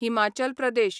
Himachal Pradesh